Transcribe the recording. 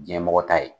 Diɲɛmɔgɔ ta ye